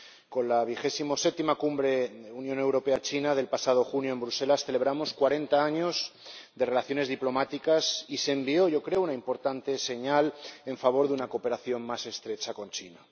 Con la XVII Cumbre Unión Europea China del pasado junio en Bruselas celebramos cuarenta años de relaciones diplomáticas y se envió —yo creo— una importante señal en favor de una cooperación más estrecha con China.